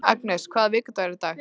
Agnes, hvaða vikudagur er í dag?